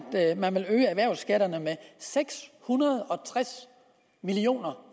man vil øge erhvervsskatterne med seks hundrede og tres million